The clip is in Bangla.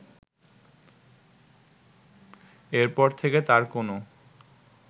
এর পর থেকে তার কোনো